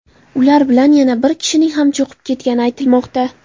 Ular bilan yana bir kishining ham cho‘kib ketgani aytilmoqda.